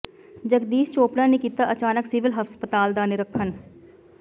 ਜਗਦੀਸ਼ ਚੋਪੜਾ ਨੇ ਕੀਤਾ ਅਚਾਨਕ ਸਿਵਲ ਹਸਪਤਾਲ ਦਾ ਨਿਰੀਖਣ